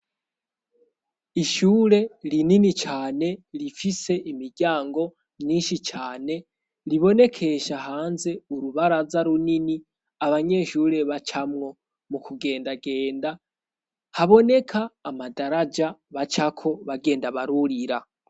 Ishure rinini cane rifise imiryango myinshi cane, ribonekesha hanze urubaraza runini abanyeshure bacamwo mu kugendagenda; haboneka amadaraja bacako bagenda barurira.